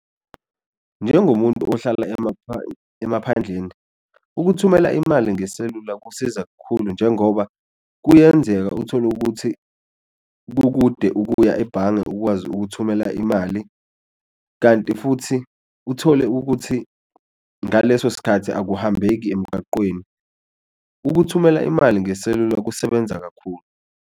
Njengomuntu ohlala emaphandleni ukuthumela imali ngeselula kusiza kakhulu njengoba kuyenzeka uthole ukuthi kukude ukuya ebhange ukwazi ukuthumela imali, kanti futhi uthole ukuthi ngaleso sikhathi akuhambeki emgaqweni. Ukuthumela imali ngeselula kusebenza kakhulu.